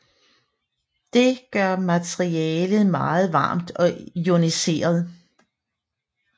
Det gør materialet meget varmt og ioniseret